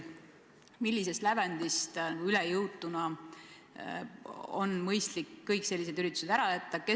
Millisest lävendist üle jõutuna on mõistlik sellised üritused ära jätta?